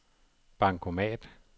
bankomat